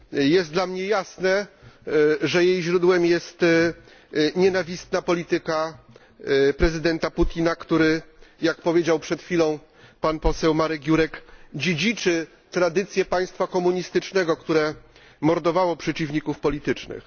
Jest dla mnie jasne, że jej źródłem jest nienawistna polityka prezydenta Putina, który, jak powiedział przed chwilą pan poseł Marek Jurek, dziedziczy tradycję państwa komunistycznego, które mordowało przeciwników politycznych.